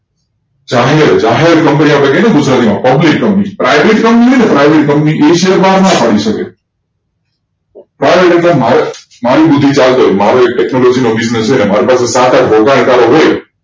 જાહેર company કહીએ છીએ ને ગુજરાતીમાં public company private company એ શેર બહાર ના પાડી શકે મારું ટેકનોલોજી નો બિઝનેસ હોય